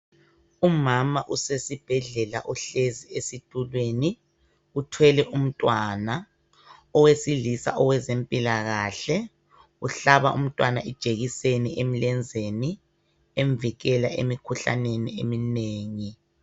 Umama usesibhedlela uhlezi esitulweni uthwele umntwana. Owesilisa owezempilakahle uhlaba umntwana ijekiseni emlenzeni emvikela emikhuhlaneni eminengi.